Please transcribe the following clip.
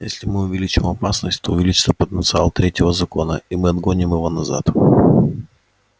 если мы увеличим опасность то увеличится потенциал третьего закона и мы отгоним его назад